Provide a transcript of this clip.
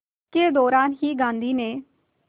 के दौरान ही गांधी ने